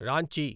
Ranchi